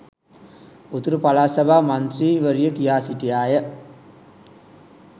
උතුරු පළාත් සභා මන්ත්‍රී වරිය කියා සිටියාය